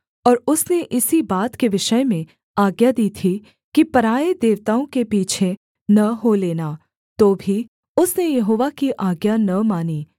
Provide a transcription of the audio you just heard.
और उसने इसी बात के विषय में आज्ञा दी थी कि पराए देवताओं के पीछे न हो लेना तो भी उसने यहोवा की आज्ञा न मानी